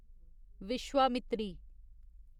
Vishwamitri